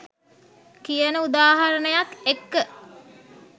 කියන උදාහරණයත් එක්ක.